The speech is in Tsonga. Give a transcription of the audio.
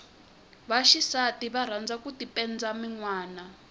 va xisati va rhandza ku tipenda minwana